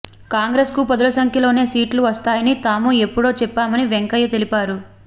కాంగ్రెస్ కు పదుల సంఖ్యలోనే సీట్లు వస్తాయని తాము ఎప్పుడో చెప్పామని వెంకయ్య తెలిపారు